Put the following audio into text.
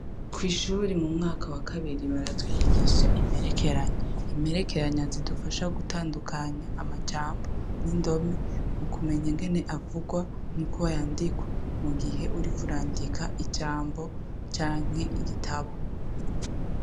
Kwishure mu mwaka wa kabiri baratwigisha imperekeranya, imperekeranya zidufasha gutandukanya amajambo n' indome ukumenya ingene akogwa n' ingene yandikwa mugihe uriko urandika ijambo canke igitabo.